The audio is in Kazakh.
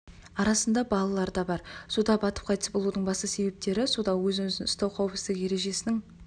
арасында балалар да бар суда батып қайтыс болудың басты себептері суда өзін-өзі ұстау қауіпсіздік ережесінің